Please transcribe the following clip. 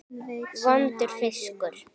Vondur fiskur.